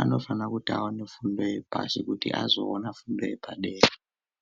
anofana kuti aone fundo yepashi kuti azoona fundo yepadera.